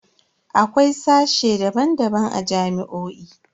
Akwai sashe daban-daban a jami'o'i.